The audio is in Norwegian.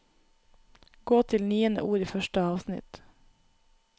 Gå til niende ord i første avsnitt